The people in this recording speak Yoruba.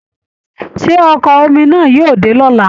Ṣé Ọkọ̀ omi náà yóò dé lọla?